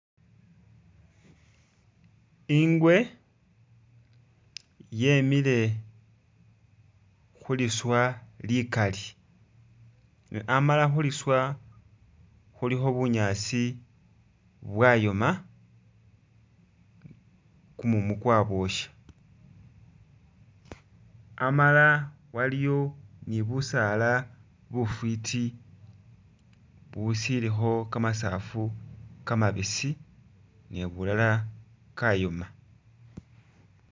Ingwe yemile khuliswa ligaali ne amala khuliswa khulikho bunyaasi bwayoma gumumu gwabosha amala waliyo ni busaala bufiti bushilikho gamasaafu gamabisi ni bulala gayoma.